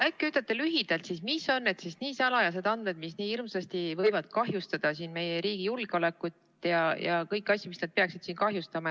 Äkki ütlete lühidalt, millised on nii salajased andmed, mis nii hirmsasti võivad kahjustada meie riigi julgeolekut ja kõiki asju, mida nad peaksid kahjustama.